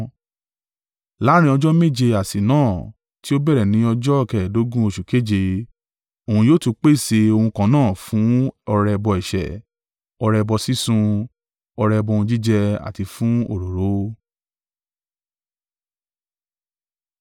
“ ‘Láàrín ọjọ́ méje àsè náà, tí ó bẹ̀rẹ̀ ní ọjọ́ kẹ́ẹ̀dógún oṣù keje, òun yóò tún pèsè ohun kan náà fún ọrẹ ẹbọ ẹ̀ṣẹ̀, ọrẹ ẹbọ sísun, ọrẹ ẹbọ ohun jíjẹ, àti fún òróró.